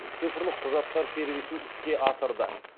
цифрлық құжаттар сервисін іске асырды